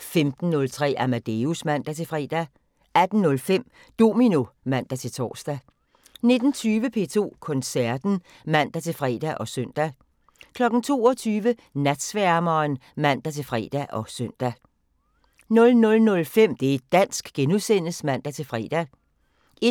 15:03: Amadeus (man-fre) 18:05: Domino (man-tor) 19:20: P2 Koncerten (man-fre og søn) 22:00: Natsværmeren (man-fre og søn) 00:05: Det' dansk *(man-fre) 01:50: